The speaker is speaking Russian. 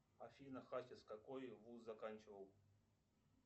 афина хасис какой вуз заканчивал